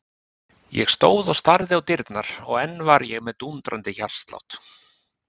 Ég stóð og starði á dyrnar og enn var ég með dúndrandi hjartslátt.